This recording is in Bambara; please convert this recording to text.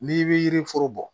N'i bɛ yiri foro bɔ